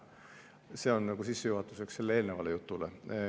See on sissejuhatuseks sellele eelnevale jutule.